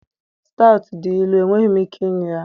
stout dị ilu, enweghị m ike ịṅụ ya.